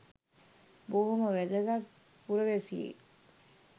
බොහොම වැදගත් පුරවැසියෙක්